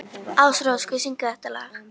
Ásrós, hver syngur þetta lag?